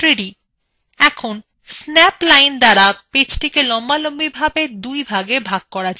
এখন snap line দ্বারা page টিকে লম্বালম্বি ভাবে দুই ভাগে ভাগ করা যাক